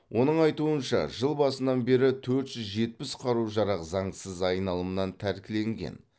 оның айтуынша жыл басынан бері төрт жүз жетпіс қару жарақ заңсыз айналымнан тәркіленген